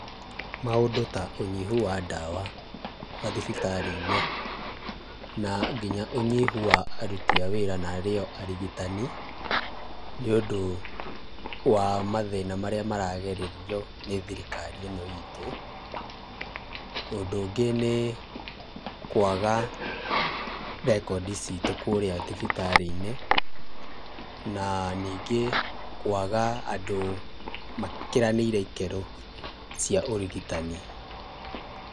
Maũndũ ta ũnyihu wa ndawa mathibitarĩ-inĩ na nginya ũnyihu wa aruti a wĩra na arĩo arigitani, nĩ ũndũ wa mathĩna marĩa maragererio nĩ thirikari ĩno itũ, ũndũ ũngĩ nĩ kwaga rekondi citũ kũrĩa thibitarĩ-inĩ, na ningĩ kwaga andũ makiranĩirie ikĩro cia ũrigitani.